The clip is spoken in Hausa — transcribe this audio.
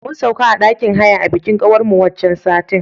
Mun sauka a ɗakin haya a bikin kawar mu waccan satin.